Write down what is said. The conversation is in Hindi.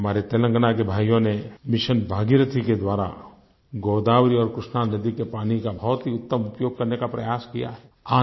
हमारे तेलंगाना के भाइयों ने मिशन भागीरथी के द्वारा गोदावरी और कृष्णा नदी के पानी का बहुत ही उत्तम उपयोग करने का प्रयास किया है